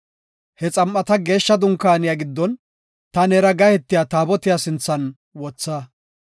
He xam7ata geeshsha dunkaaniya giddon ta neera gahetiya Taabotiya sinthan wotha.